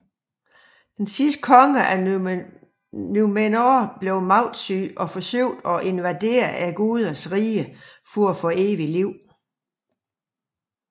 Den sidste konge af Númenor blev magtsyg og forsøgte at invadere gudernes rige for at få evigt liv